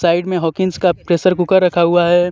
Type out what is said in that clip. Side में Hawkins का pressure cooker रखा हुआ है.